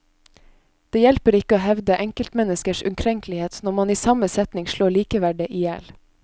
Det hjelper ikke å hevde enkeltmenneskers ukrenkelighet når man i samme setning slår likeverdet i hjel.